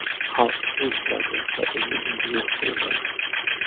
Xalq o‘zgardi va endi bunga yo‘l qo‘ymaydi.